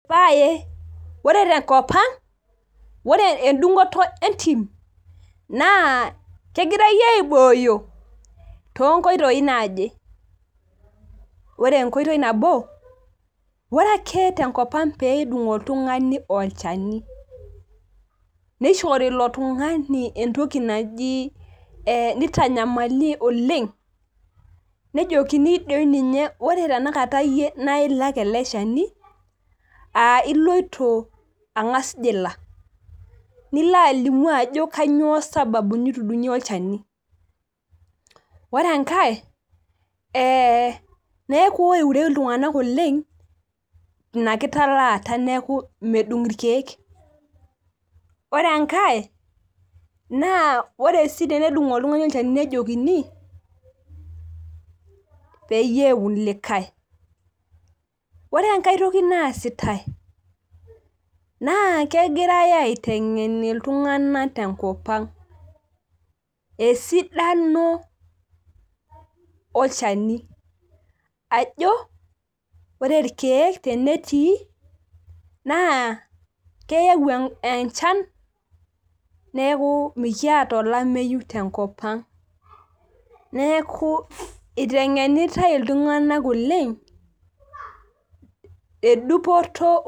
ee paye ore tenkopang' ore edung'oto entim naa kegirai aibooyo too nkoitoi naaje ore enkoitoi nabo ore ake tenkopang' pee edung' oltung'ani olchani, nitanyamali oleng' nejokini ore ninye iyie naa ilak eleshani nejokini naa iloito ninye ang'as jila, nilo alimu ajo kanyioo sababu nitudung'ie olchani, ore enkae neeku keeure iltung'anak oleng' ina kitalaata neeku medung' ilkeek ,ore enkae naa ore sii pee edung' oltung'ani olchani nejokini, peyie eun likae ore enkae toki naa sitae , naa kegirai aiteng'en iltung'anak tenkopang' esidano olchani ajo ore ilkeek tenetii naa keyau enchan neeku mikiata olameyu tenkopang' neeku iteng'enita iltung'anak oleng'.